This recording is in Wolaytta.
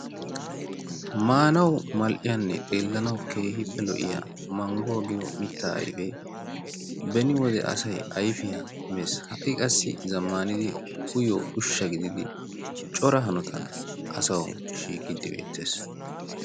Maanawu mall"iyanne xeellanawu keehippe lo"iya mangguwa giyo mitta ayfee beni wode asayi ayfiya mes ha"i qassi zammaanidi uyiyo ushsha gididi cora hanotan asawu shiiqiiddi beettes.